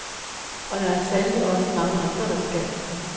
Og det er der sandelig også mange andre, der skal.